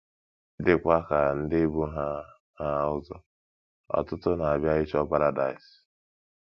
Dịkwa ka ndị bu ha ha ụzọ, ọtụtụ na - abịa ịchọ paradaịs.